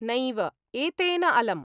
नैव, एतेन अलम्।